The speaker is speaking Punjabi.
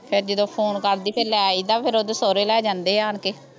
ਫਿਰ ਜਦੋਂ ਫ਼ੋਨ ਕਰਦੀ ਫੇਰ ਲੈ ਆਈ ਦਾ ਫੇਰ ਓਦੋਂ ਸੌਹਰੇ ਲੈ ਜਾਂਦੇ ਆ ਆਨਕੇ